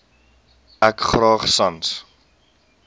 ek graag sans